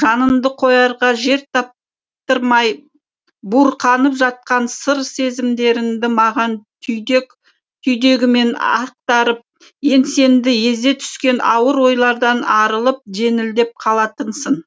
жаныңды қоярға жер таптырмай буырқанып жатқан сыр сезімдеріңді маған түйдек түйдегімен ақтарып еңсеңді езе түскен ауыр ойлардан арылып жеңілдеп қалатынсың